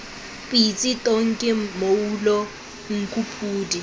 pitsi tonki mmoulo nku podi